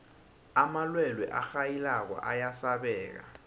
amalwelwe arhayilako ayasabeka